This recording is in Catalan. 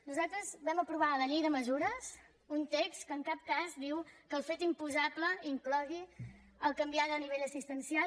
nosaltres vam aprovar a la llei de mesures un text que en cap cas diu que el fet imposable inclogui el fet de canviar de nivell assistencial